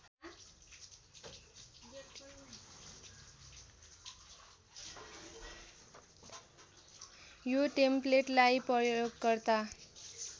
यो टेम्पलेटलाई प्रयोगकर्ता